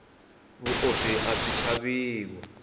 vuoswi abyi chaviwa